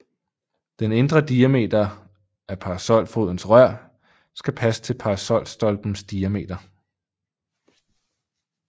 Den indre diameter af parasolfodens rør skal passe til parasolstoplens diametster